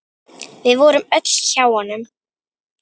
Við vorum öll hjá honum.